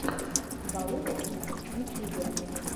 балух икс в ютьюбе